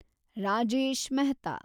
Rajesh Mehta